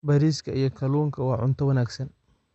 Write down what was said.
Bariiska iyo kalluunka waa cunto wanaagsan.